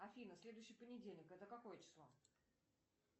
афина следующий понедельник это какое число